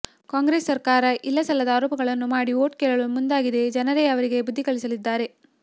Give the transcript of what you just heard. ಕಾಂಗ್ರೆಸ್ ಸರ್ಕಾರ ಇಲ್ಲ ಸಲ್ಲದ ಆರೋಪಗಳನ್ನು ಮಾಡಿ ಓಟ್ ಕೇಳಲು ಮುಂದಾಗಿದೆ ಜನರೇ ಅವರಿಗೆ ಬುದ್ದಿಕಲಿಸಲಿದ್ದಾರೆ